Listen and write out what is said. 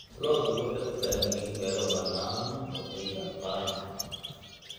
Lo'du waxay u baahan yihiin meelo bannaan oo ay daaqaan.